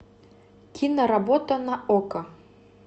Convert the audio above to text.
киноработа на окко